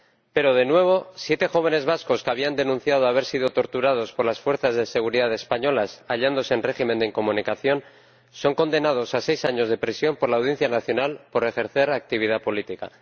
Pero, de nuevo, siete jóvenes vascos que habían denunciado haber sido torturados por las fuerzas de seguridad españolas mientras se hallaban en régimen de incomunicación son condenados a seis años de prisión por la Audiencia Nacional por ejercer actividad política.